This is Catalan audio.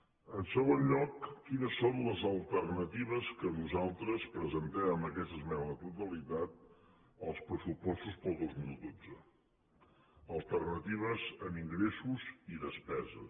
en segon lloc quines són les alternatives que nosaltres presentem amb aquesta esmena a la totalitat als pressupostos per al dos mil dotze alternatives en ingressos i despeses